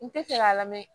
N tɛ fɛ k'a lamɛn